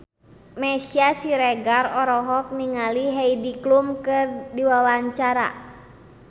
Meisya Siregar olohok ningali Heidi Klum keur diwawancara